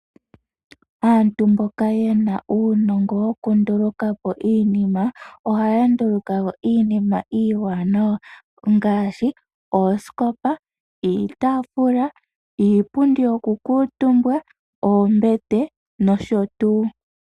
Aantu mboka yena uunongo woku ndulukapo iinima ohaya ndulukapo iinima iiwanawa ngaashi oosikopa, iitafula, iipundi yoku kuutumbwa, oombete nosho tuu.